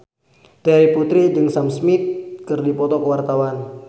Terry Putri jeung Sam Smith keur dipoto ku wartawan